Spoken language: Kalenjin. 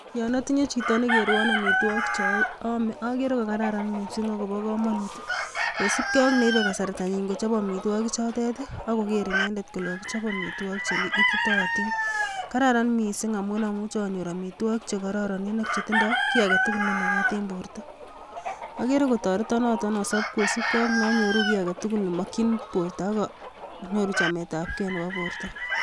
Yon otinyee chito nekerwon amitwogik cheome, agere ko kararam missing akobo komonut .Kosiibge ak neibe kasartanyiin kochob amitwogikchotet ako koger inendet kole kokichob amitwogiik cheititoon. Kararan missing amun amuche anyoor amitwogik chekororon chetindoi kiy agetugul nemakaat en bortoo. Agere kotoretoon noton asob kosiibge ak neonyooru kiy agetugul nemokyin bortoo ak anyooru chametabgee nebo bortoo